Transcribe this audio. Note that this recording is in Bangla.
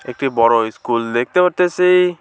একটি বড় ইস্কুল দেখতে পারতাসি।